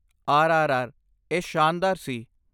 ਆਰਆਰਆਰ, ਇਹ ਸ਼ਾਨਦਾਰ ਸੀ।